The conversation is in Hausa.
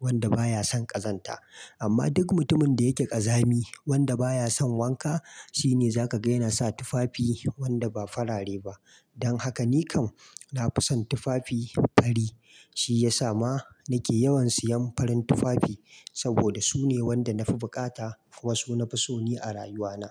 wanda baya son ƙazanta. Amma duk mutumin da yake ƙazami wanda baya son wanka, shi ne za ka gani yana sa tufafi wanda ba farare ba. Don haka ni kam na fi son tufafi fari. Shi ya sa ma na ke yawan siyan farin tufafi saboda su ne wanda na fi buƙata kuma su na fi so ni a rayuwana.